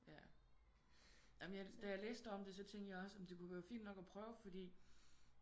Ja da jeg læste om det så tænkre jeg også det kunne være fint nok at prøve fordi